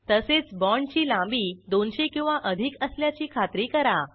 तसेच बाँडची लांबी 200 किंवा अधिक असल्याची खात्री करा